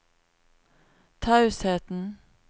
tausheten